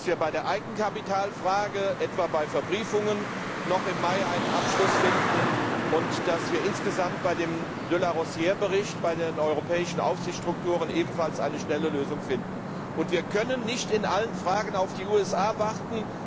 Außerdem müssen wir bei der Eigenkapitalfrage, etwa bei Verbriefungen, noch im Mai einen Abschluss finden und insgesamt beim de Larosière Bericht bei den europäischen Aufsichtsstrukturen ebenfalls eine schnelle Lösung finden. Wir können nicht bei allen Fragen auf die USA warten.